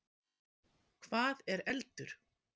Hvað er eldur?